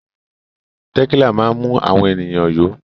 Tẹ̀kílà máa ń mú àwọn ènìyàn yó.